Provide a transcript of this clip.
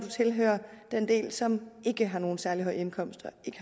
tilhører den del som ikke har nogen særlig høj indkomst